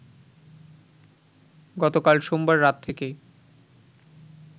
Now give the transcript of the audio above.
গতকাল সোমবার রাত থেকেই